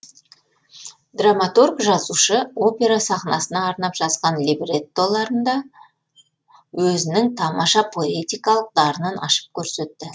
драматург жазушы опера сахнасына арнап жазған либреттоларында өзінің тамаша поэтикалық дарынын ашып көрсетті